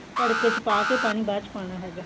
ਤੜਕੇ ਚ ਪਾ ਕੇ ਪਾਣੀ ਬਾਅਦ ਚ ਪਾਨਾ ਹੈਗਾ